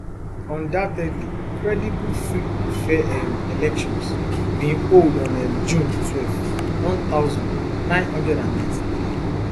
undoubtedly credible free and fair um elections bin hold on um june twelve one thousand, nine hundred and ninety-three